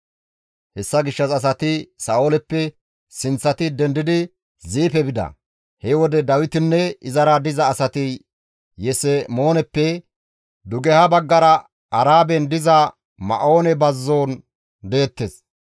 Hessa gishshas asati Sa7ooleppe sinththati dendidi Ziife bida; he wode Dawitinne izara diza asati Yesemooneppe dugeha baggara Araben diza Ma7oone bazzon deettes.